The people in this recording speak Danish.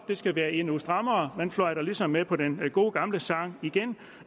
det skal være endnu strammere man fløjter ligesom med på den gode gamle sang igen